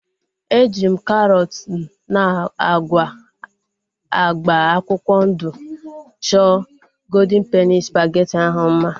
Eji m karọt na agwa agba akwụkwọ ndụ chọọ goldịn peni spageti ahu mma